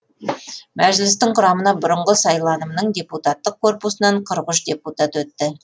мәжілістің құрамына бұрынғы сайланымның депутаттық корпусынан қырық үш депутат өтті